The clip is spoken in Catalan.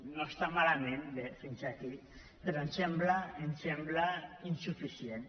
no està malament bé fins aquí però ens sembla insuficient